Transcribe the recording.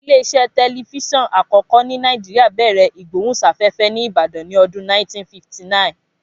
Ilé iṣẹ́ tẹlifíṣọ̀n àkọ́kọ́ ní Nàìjíríà bẹ̀rẹ̀ ìgbóhùnsáfẹ́fẹ́ ní Ìbàdàn ní ọdún 1959